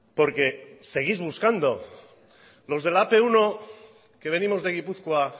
porque seguís buscando los de la ap uno que venimos de gipuzkoa